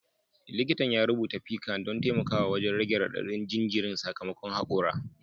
Likitan ya rubuta piccan don taimakawa wajen rage radadin jinjirin sakamakon hakora